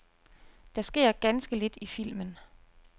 Der sker ganske lidt i filmen.